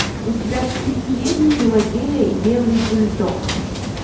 у тебя в списке есть пелагея и белый бульдог